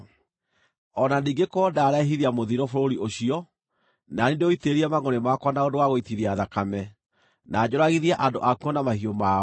“O na ningĩ korwo ndarehithia mũthiro bũrũri ũcio, na niĩ ndĩũitĩrĩrie mangʼũrĩ makwa na ũndũ wa gũitithia thakame, na njũragithie andũ akuo na mahiũ mao,